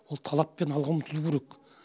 ол талаппен алға ұмтылу керек